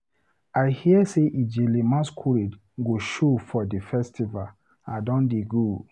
I hear sey Ijele masqurade go show for di festival, I don dey go.